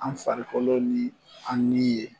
An farikolo ni an ni ye.